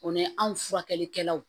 O ni anw furakɛlikɛlaw